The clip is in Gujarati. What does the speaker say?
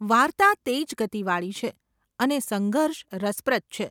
વાર્તા તેજ ગતિવાળી છે અને સંઘર્ષ રસપ્રદ છે.